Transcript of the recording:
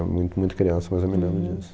era mui muito criança, mas eu me lembro disso.